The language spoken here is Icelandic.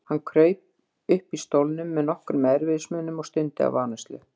Hann kraup uppi í stólnum með nokkrum erfiðismunum og stundi af áreynslu.